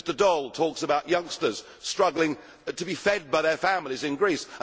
Mr Daul talks about youngsters struggling to be fed by their families in Greece.